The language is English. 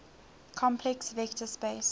complex vector space